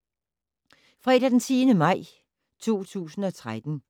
Fredag d. 10. maj 2013